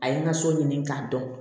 A ye n ka so ɲini k'a dɔn